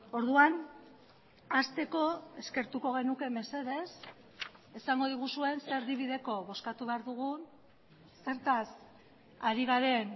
orduan hasteko eskertuko genuke mesedez esango diguzuen ze erdibideko bozkatu behar dugun zertaz ari garen